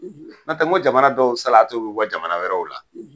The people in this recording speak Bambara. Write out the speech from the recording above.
N' o tɛ n ko jamana dɔw salati bɛ bɔ jamana wɛrɛw la!